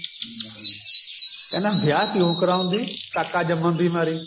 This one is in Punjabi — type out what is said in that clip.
ਕਹਿੰਦਾ ਵਿਆਹ ਕਿਉਂ ਕਰਵਾਉਂਦੀ ਕਾਕਾ ਜੰਮਣ ਦੀ ਮਾਰੀ